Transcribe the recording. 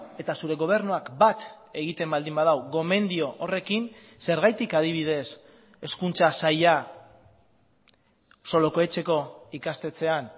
eta zure gobernuak bat egiten baldin badu gomendio horrekin zergatik adibidez hezkuntza saila solokoetxeko ikastetxean